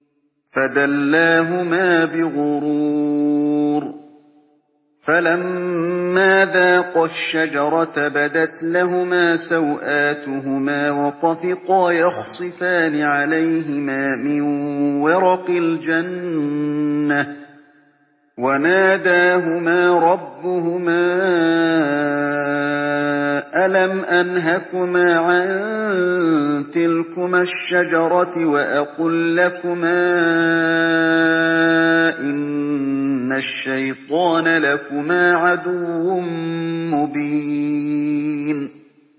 فَدَلَّاهُمَا بِغُرُورٍ ۚ فَلَمَّا ذَاقَا الشَّجَرَةَ بَدَتْ لَهُمَا سَوْآتُهُمَا وَطَفِقَا يَخْصِفَانِ عَلَيْهِمَا مِن وَرَقِ الْجَنَّةِ ۖ وَنَادَاهُمَا رَبُّهُمَا أَلَمْ أَنْهَكُمَا عَن تِلْكُمَا الشَّجَرَةِ وَأَقُل لَّكُمَا إِنَّ الشَّيْطَانَ لَكُمَا عَدُوٌّ مُّبِينٌ